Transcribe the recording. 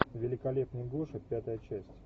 великолепный гоша пятая часть